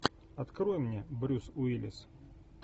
открой мне брюс уиллис